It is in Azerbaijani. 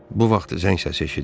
Bu vaxt zəng səsi eşidildi.